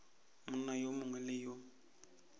monna yo mongwe le yo